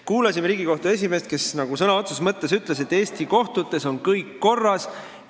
Kuulasime Riigikohtu esimeest, kes nagu sõna otseses mõttes ütles, et Eesti kohtutes on kõik korras.